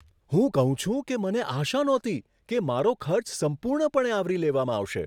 હું કહું છું કે, મને આશા નહોતી કે મારો ખર્ચ સંપૂર્ણપણે આવરી લેવામાં આવશે.